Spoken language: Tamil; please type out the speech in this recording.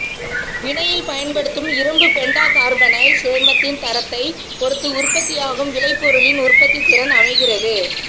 வினையில் பயன்படுத்தும் இரும்பு பெண்டாகார்பனைல் சேர்மத்தின் தரத்தைப் பொறுத்து உற்பத்தியாகும் விளை பொருளின் உற்பத்தி திறன் அமைகிறது